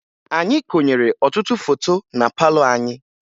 Anyị konyere ọtụtụ foto na palọ anyị